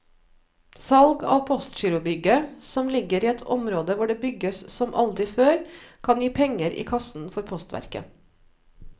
Salg av postgirobygget, som ligger i et område hvor det bygges som aldri før, kan gi penger i kassen for postverket.